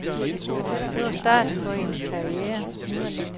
Det var starten på hendes karriere.